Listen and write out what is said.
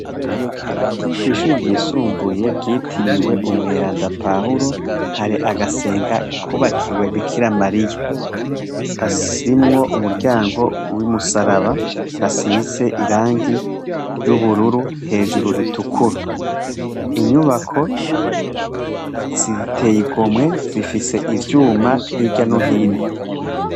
Kw'ishure ryisumbuye ryitiriwe umweranda pawuro hari agasenga kubakiwe bikirimariya, gafisemwo umuryango urimwo umusaraba gasize iragi ry'ubururu, hejuru ritukura, inyubako ziteye igomwe zifise ivyuma hirya nohino.